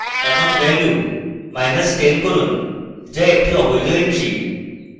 এখন value10 করুন যা একটি অবৈধ entry